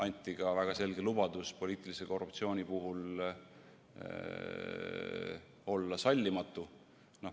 Anti ka väga selge lubadus poliitilise korruptsiooni suhtes olla sallimatu.